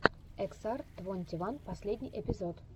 эксар твонти ван последний эпизод